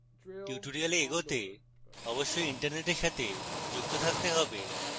tutorial এগোতে অবশ্যই internet সাথে যুক্ত থাকতে হবে